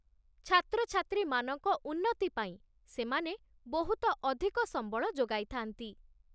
ଛାତ୍ରଛାତ୍ରୀମାନଙ୍କ ଉନ୍ନତି ପାଇଁ ସେମାନେ ବହୁତ ଅଧିକ ସମ୍ବଳ ଯୋଗାଇଥାନ୍ତି।